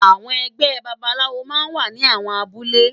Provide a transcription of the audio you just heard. Awòn ègbè bàbálàwó má n wá ni áwòn àbúlé